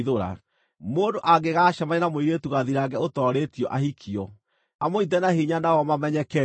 Mũndũ angĩgacemania na mũirĩtu gathirange ũtoorĩtio ahikio, amũnyiite na hinya nao mamenyeke-rĩ,